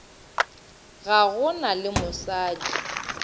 ga go na le mosadi